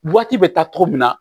Waati bɛ taa cogo min na